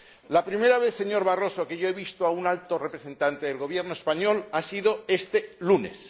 La primera vez, señor Barroso, que yo he visto a un alto representante del Gobierno español ha sido este lunes.